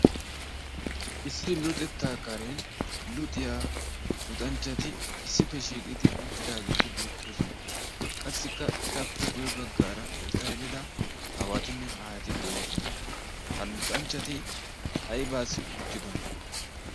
issi luuxettaa karen luxiyaa luxanchchati issippeshiiqidi uuttidaageeti beettoosona. qassikka etappe guye baggaara ertta elida haawatinne aahati de'oosona ha luxanchchati aibaassi uttidona?